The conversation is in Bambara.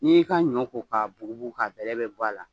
N'i y'i ka ɲɔ ko k'a bugu bugu k'a bɛlɛ bɛɛ bɔ a la.